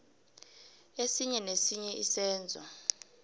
esinye nesinye isenzo